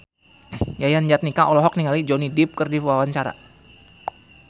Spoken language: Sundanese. Yayan Jatnika olohok ningali Johnny Depp keur diwawancara